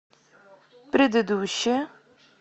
предыдущая